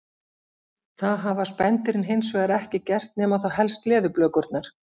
Það hafa spendýrin hins vegar ekki gert nema þá helst leðurblökurnar.